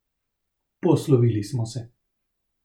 Poslovili smo se.